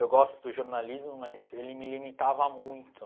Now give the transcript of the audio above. Eu gosto do jornalismo, mas ele me limitava muito.